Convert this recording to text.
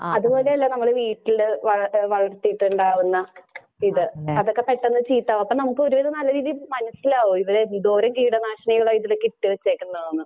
അതുപോലെയല്ല നമ്മള് വീട്ടില് വള , വളർത്തിയിട്ട് ഉണ്ടാവുന്ന ഇത് അതൊക്കെ പെട്ടെന്ന് ചീത്തയാവും അപ്പം നമുക്ക് ഒരു വിധം നല്ല രീതിയിൽ മനസ്സിലാവും ഇത് എന്തോരം കീടനാശിനികളാ ഇതിലെക്കേ ഇട്ടു വെച്ചെക്കുന്നതെന്ന്.